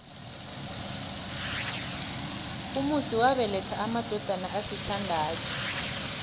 umusi wabeletha amadodana asithandathu